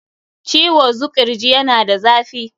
Ciwo zuƙirji yana da zafi.